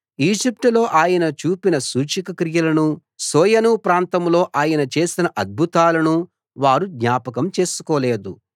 ఈజిప్టులో ఆయన చూపిన సూచక క్రియలనూ సోయను ప్రాంతంలో ఆయన చేసిన అద్భుతాలనూ వారు జ్ఞాపకం చేసుకోలేదు